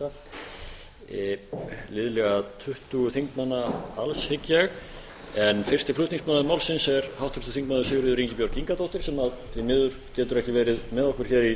framtíðar og pírata liðlega tuttugu þingmanna alls hygg ég en fyrsti flutningsmaður málsins er háttvirtur þingmaður sigríður ingibjörg ingadóttir sem því miður getur ekki verið með okkur hér í